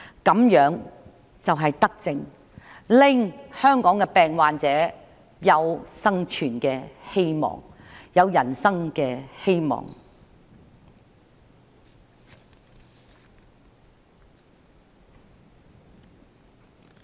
這樣就是德政，令香港的病患者有生存的希望，有人生的希望。